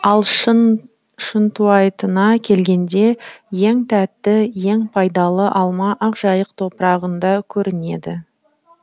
ал шынтуайтына келгенде ең тәтті ең пайдалы алма ақжайық топырағында көрінеді